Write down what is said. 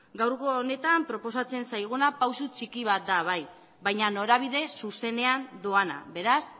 gaurko honetan proposatzen zaiguna pausu txiki bat da bai baina norabide zuzenean doana beraz